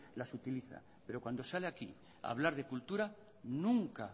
las utiliza pero cuando sale aquí a hablar de cultura nunca